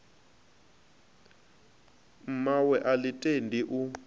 mmawe a ḽi tendi u